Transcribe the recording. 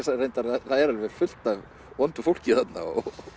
reyndar það er alveg fullt af vondu fólki þarna